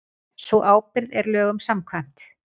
Sú ábyrgð er lögum samkvæmt